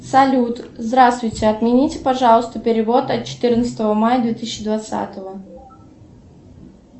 салют здравствуйте отмените пожалуйста перевод от четырнадцатого мая две тысячи двадцатого